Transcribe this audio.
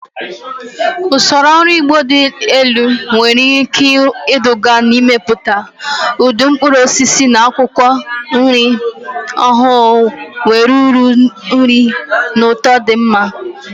Usoro ọrụ ugbo dị elu nwere ike iduga n'ịmepụta ụdị mkpụrụ osisi na akwụkwọ nri ọhụrụ nwere uru nri na ụtọ dị mma.